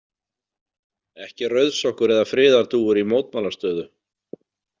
Ekki rauðsokkur eða friðardúfur í mótmælastöðu.